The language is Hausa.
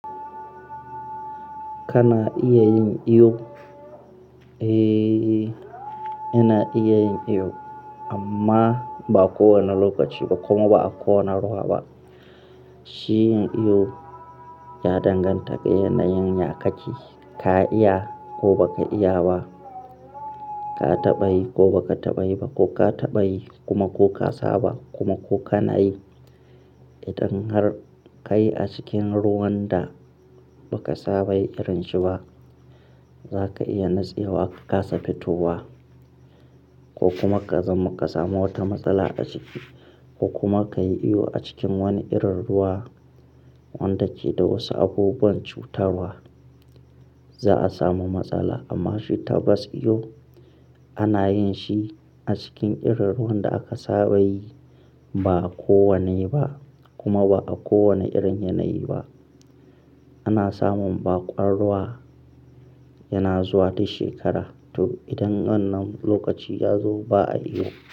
Kana iya yin iyo, eh yana iya yin iyo amma ba kowane lokaci ba kuma ba a kowane ruwa ba. Shi yin iyo ya danganta ga yana yin ya kake, ka iya ko baka iya ba, ka taɓa yi ko baka taɓa yi ba ko ka taɓa yi kuma ko ka saba kuma ko ka nayi. Idan har ka yi a cikin ruwan da baka saba yi irin shi ba, zaka iya nutsewa, ka kasa fitowa ko kuma ka zam ka samu wata matsala a ciki ko kuma ka yi iyo a cikin wani irin ruwa wanda ke da wasu abubuwan cutarwa, za a samu matsala. Amma shi tabas iyo ana yin shi a cikin irin ruwan da aka saba yi ba a kowane yi ba kuma ba a kowane irin yanayi ba. Ana samun baƙwan ruwa yana zuwa duk shekara, to idan wannan lokaci ya zo ba a iyo.